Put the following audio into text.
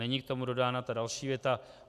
Není k tomu dodána ta další věta.